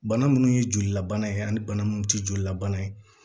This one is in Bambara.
Bana munnu ye jolilabana ye ani bana munnu tɛ jolilabana ye